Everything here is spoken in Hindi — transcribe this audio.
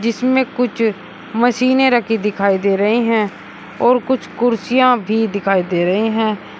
इसमें कुछ मशीनें रखी दिखाई दे रहे हैं और कुछ कुर्सियां भी दिखाई दे रहे हैं।